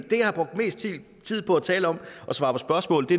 det jeg har brugt mest tid på at tale om og svare på spørgsmål